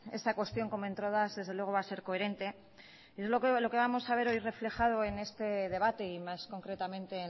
en esta cuestión como entrada desde luego va a ser coherente entonces lo que vamos a ver hoy reflejado en este debate y más concretamente